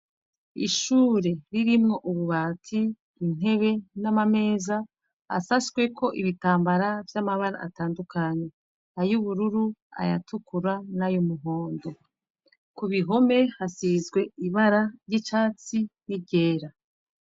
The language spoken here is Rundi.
Ishure ririmwo ububati intebe namameza asatsweko ibitambara vyamabara atandukanye ayubururu ayatukura nayumuhondo kubihome hasizwe ibara ryicatsi niryera